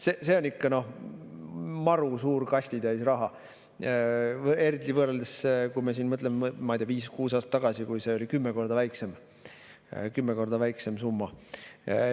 See on ikka maru suur kastitäis raha, eriti kui me mõtleme, ma ei tea, viis või kuus aastat tagasi, kui see oli kümme korda väiksem summa.